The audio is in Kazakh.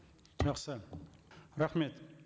жақсы рахмет